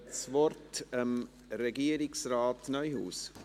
Ich gebe das Wort Regierungsrat Neuhaus.